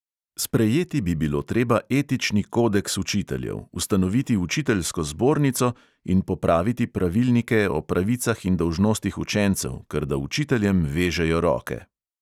Sprejeti bi bilo treba etični kodeks učiteljev, ustanoviti učiteljsko zbornico in popraviti pravilnike o pravicah in dolžnostih učencev, ker da učiteljem vežejo roke.